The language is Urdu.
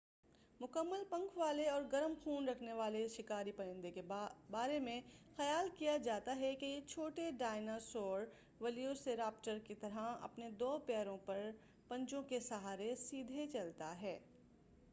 مکمل پنکھ والے اور گرم خون رکھنے والے اس شکاری پرندہ کے بارے میں خیال کیا جاتا ہے کہ یہ چھوٹے ڈائنا سور ویلوسیراپٹر کے طرح اپنے دو پیروں پر پنجوں کے سہارے سیدھے چلتا ہے